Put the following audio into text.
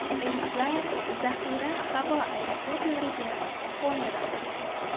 Reyslar zaxira havo aeroportlarga qo‘ndirildi.